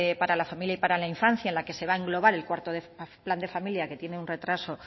para la familia y para la infancia en la que se va englobar el cuarto plan de familia que tiene un retraso